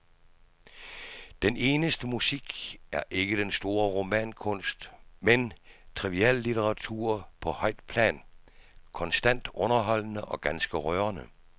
Den eneste musik er ikke den store romankunst, men triviallitteratur på højt plan, konstant underholdende og ganske rørende.